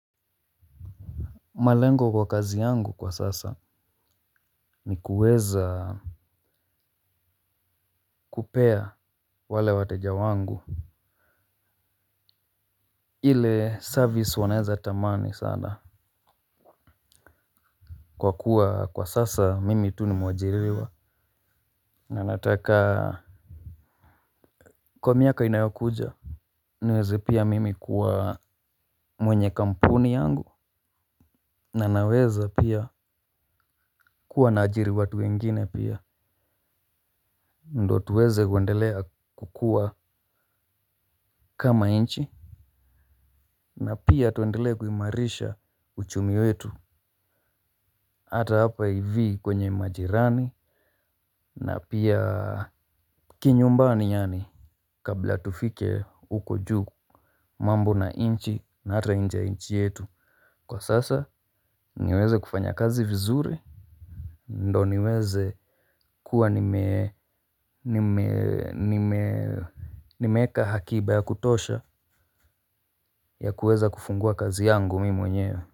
Malengo kwa kazi yangu kwa sasa ni kuweza kupea wale wateja wangu. Ile service wanaeza tamani sana. Kwa kuwa kwa sasa mimi tu ni mwajiriwa na nataka kwa miaka inayokuja niweze pia mimi kuwa mwenye kampuni yangu na naweza pia kuwa naajiri watu wengine pia ndo tuweze kuendelea kukua kama nchi. Na pia tuendelee kuimarisha uchumi wetu. Hata hapa ivi kwenye majirani na pia kinyumbani yaani kabla tufike uko juu mambo na nchi na hata nje ya nchi yetu kwa sasa niweze kufanya kazi vizuri ndo niweze kuwa nimeeka akiba ya kutosha ya kuweza kufungua kazi yangu mimi mwenyewe. Kwa hivyo.